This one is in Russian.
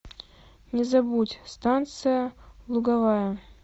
не забудь станция луговая